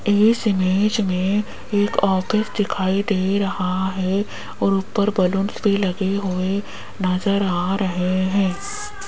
इस इमेज मे एक ऑफिस दिखाई दे रहा है और ऊपर बलूंस भी लगे हुए नज़र आ रहे है।